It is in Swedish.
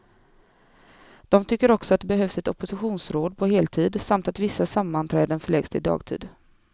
De tycker också att det behövs ett oppositionsråd på heltid, samt att vissa sammanträden förläggs till dagtid.